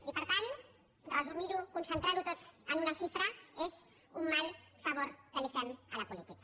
i per tant resumir ho concentrar ho tot en una xifra és un mal favor que li fem a la política